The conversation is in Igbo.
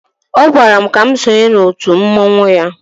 ọ gwara m ka m sonye n'òtù masquerade ya